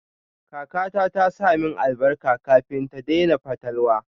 Kakata ta sa min albarka kafin ta daina fatalwa.